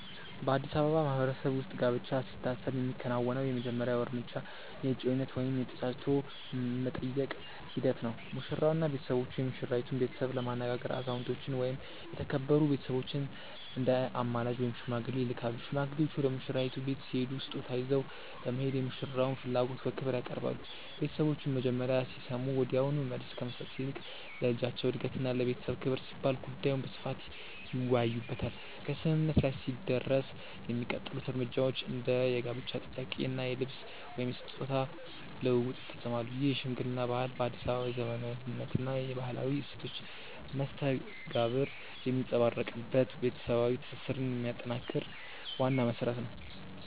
በአዲስ አበባ ማህበረሰብ ውስጥ ጋብቻ ሲታሰብ የሚከናወነው የመጀመሪያው እርምጃ የእጮኝነት ወይም የ"ተጫጭቶ የመጠየቅ" ሂደት ነው። ሙሽራውና ቤተሰቦቹ የሙሽራይቱን ቤተሰብ ለማነጋገር አዛውንቶችን ወይም የተከበሩ ቤተሰቦችን እንደ አማላጅ (ሽማግሌ) ይልካሉ። ሽማግሌዎቹ ወደ ሙሽራይቱ ቤት ሲሄዱ ስጦታ ይዘው በመሄድ የሙሽራውን ፍላጎት በክብር ያቀርባሉ። ቤተሰቦቹም መጀመሪያ ሲሰሙ ወዲያውኑ መልስ ከመስጠት ይልቅ ለልጃቸው እድገትና ለቤተሰብ ክብር ሲባል ጉዳዩን በስፋት ይወያዩበታል። ከስምምነት ላይ ሲደረስ የሚቀጥሉት እርምጃዎች እንደ የጋብቻ ጥያቄ እና የልብስ/ስጦታ ልውውጥ ይፈጸማሉ። ይህ የሽምግልና ባህል በአዲስ አበባ የዘመናዊነትና የባህላዊ እሴቶች መስተጋብር የሚንጸባረቅበት፣ ቤተሰባዊ ትስስርን የሚያጠናክር ዋና መሰረት ነው።